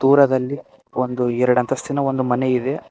ದೂರದಲ್ಲಿ ಒಂದು ಎರಡು ಅಂತಸ್ತಿನ ಒಂದು ಮನೆ ಇದೆ.